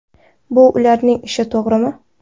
Bu ularning ishi, to‘g‘rimi?